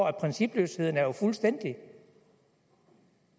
at principløsheden jo er fuldstændig